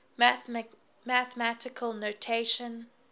mathematical notation